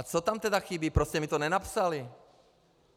A co tam tedy chybí, proč jste mi to nenapsali?